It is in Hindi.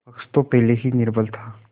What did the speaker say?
पक्ष तो पहले से ही निर्बल था